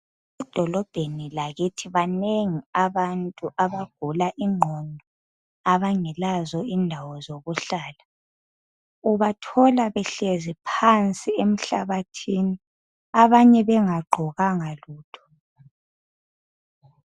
Edolobheni lakithi banengi abantu abagula ingqondo abangelazo indawo zokuhlala ubathoala behlezi phansi emhlabathini abanye bengagqokanga lutho.